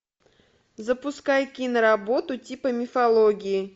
запускай кино работу типа мифологии